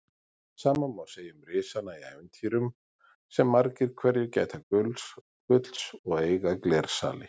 Sama má segja um risana í ævintýrum sem margir hverjir gæta gulls og eiga glersali.